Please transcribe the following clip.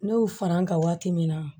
Ne y'u fara n ka waati min na